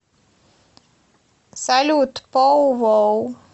салют пау вау